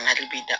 Mali bi da